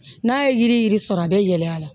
N'a ye yiri yiri sɔrɔ a bɛ yɛlɛ a la